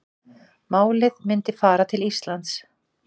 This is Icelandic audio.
Málið myndi fara til Íslands